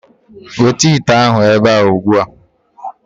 Weta ite ahụ ebe a ugbu a.